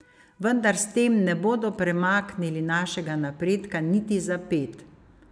Vendar s tem ne bodo premaknili našega napredka niti za ped.